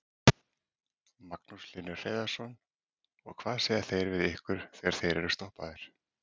Magnús Hlynur Hreiðarsson: Og hvað segja þeir við ykkur þegar þeir eru stoppaðir?